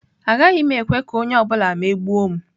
Agaghị m ekwe ka onye ọ bụla megbuo m.